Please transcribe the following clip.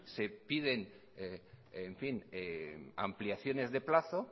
que piden ampliaciones de plazo